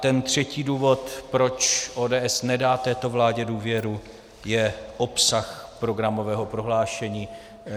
Ten třetí důvod, proč ODS nedá této vládě důvěru, je obsah programového prohlášení.